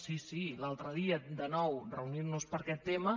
sí sí l’altre dia de nou reunint nos per aquest tema